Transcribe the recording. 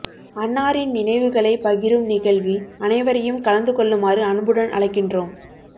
அன்னாரின் நினைவுகளை பகிரும் நிகழ்வில் அனைவரையும் கலந்து கொள்ளுமாறு அன்புடன் அழைக்கின்றோம்